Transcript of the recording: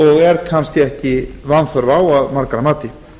og er kannski ekki vanþörf á að margra mati